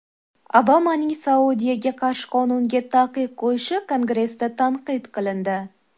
Obamaning Saudiyaga qarshi qonunga taqiq qo‘yishi Kongressda tanqid qilindi.